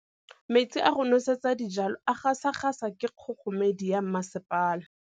Metsi a go nosetsa dijalo a gasa gasa ke kgogomedi ya masepala.